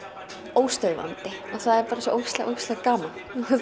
óstöðvandi og það er bara svo ógeðslega gaman